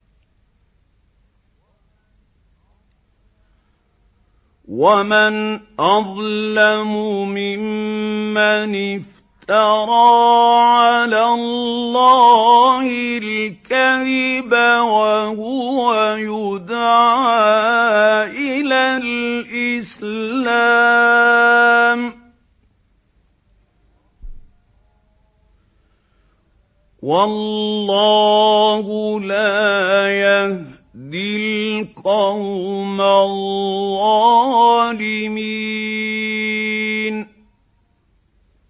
وَمَنْ أَظْلَمُ مِمَّنِ افْتَرَىٰ عَلَى اللَّهِ الْكَذِبَ وَهُوَ يُدْعَىٰ إِلَى الْإِسْلَامِ ۚ وَاللَّهُ لَا يَهْدِي الْقَوْمَ الظَّالِمِينَ